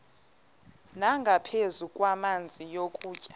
nangaphezu kwamanzi nokutya